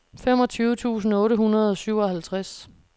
femogtyve tusind otte hundrede og syvoghalvtreds